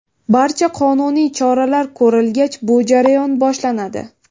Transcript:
Barcha qonuniy choralar ko‘rilgach, bu jarayon boshlanadi.